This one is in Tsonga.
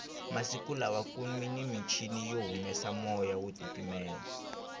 masiku lawakunimichini yo humesa moya wo titimela